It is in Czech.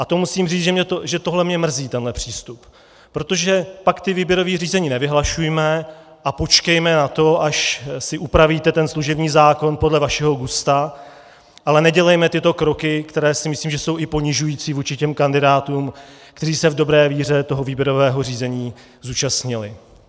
A to musím říct, že tohle mě mrzí, tenhle přístup, protože pak ta výběrová řízení nevyhlašujme a počkejme na to, až si upravíte ten služební zákon podle vašeho gusta, ale nedělejme tyto kroky, které si myslím, že jsou i ponižující vůči těm kandidátům, kteří se v dobré víře toho výběrového řízení zúčastnili.